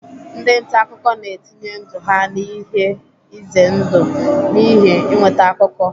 Ndị nta akụkọ na-etinye ndụ ha n'ihe ize ndụ n'ihi inweta akụkọ.